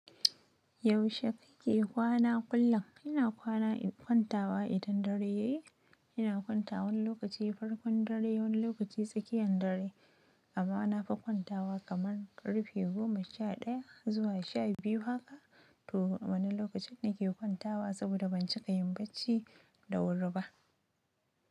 Yaushe kake kwana kullum? Ina kwana in kwantawa idan dare yayi. Ina kwantawa wani lokaci farkon dare, wani lokaci tsakiyan dare. Amma na fi kwantawa kamar ƙarfe goma sha ɗaya zuwa sha biyu haka. To wani lokacin nake kwantawa saboda ban cika yin bacci da wuri ba.